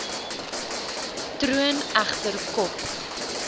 troon egter kop